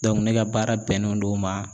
ne ka baara bɛnnen don ma